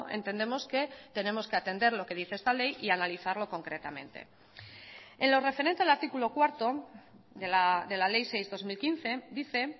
entendemos que tenemos que atender lo que dice esta ley y analizarlo concretamente en lo referente al artículo cuarto de la ley seis barra dos mil quince dice